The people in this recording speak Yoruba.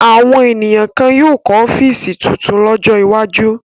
Àwọn ènìyàn kan yóò kọ́ ọ́fíísì tuntun lọ́jọ́ iwájú.